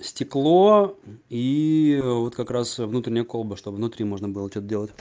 стекло и вот как раз внутренняя колба чтоб внутри можно было что то делать